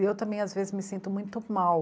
E eu também às vezes me sinto muito mal.